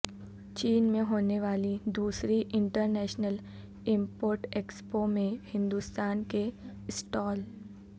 چین میں ہونے والی دوسری انٹرنیشنل امپورٹ ایکسپو میں ہندوستان کے سٹال